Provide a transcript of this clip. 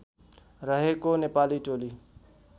रहेको नेपाली टोली